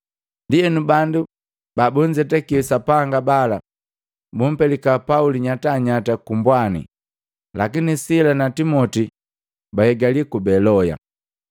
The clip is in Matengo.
Ndienu bandu babunzetaki Sapanga bala bumpelika Pauli nyatanyata ku mbwani, lakini Sila na Timoti bahigali ku Beloya.